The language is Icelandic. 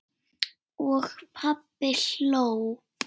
Og pabbi hló.